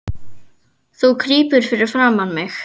Þú krýpur fyrir framan mig.